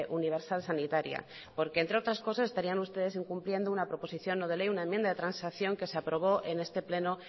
universal sanitaria porque entre otras cosas estarían ustedes incumpliendo una proposición no de ley una enmienda de transacción que se aprobó en este pleno